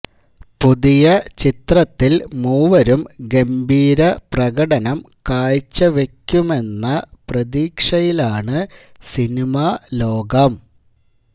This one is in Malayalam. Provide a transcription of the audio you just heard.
പുതിയ ചിത്രത്തില് മൂവരും ഗംഭീര പ്രകടനം കാഴ്ചവക്കുമെന്ന പ്രതീക്ഷയിലാണ് സിനിമാ ലോകം